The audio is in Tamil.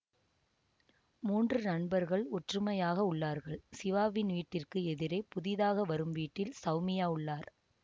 மூன்று நண்பர்கள் ஒற்றுமையாக உள்ளார்கள் சிவாவின் வீட்டிற்கு எதிரே புதிதாக வரும் வீட்டில் சௌமியா உள்ளார்